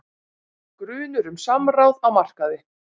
Grunur um samráð á markaði